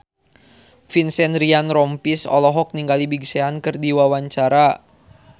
Vincent Ryan Rompies olohok ningali Big Sean keur diwawancara